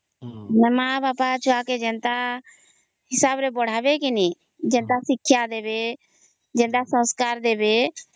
ମାନେ ମା ବାପ ଛୁଆ କେ ଯେନ୍ତା ହିସାବ ରେ ପଢାବେ କେ ନାହିଁ ଯେନ୍ତା ଶିକ୍ଷା ଦେବେ ଯେନ୍ତା ସଂସ୍କାର ଦେବେ